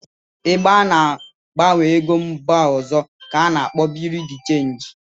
Ebe ana-agbanwe ego mba ọzọ ka akpọrọ Birui de chenji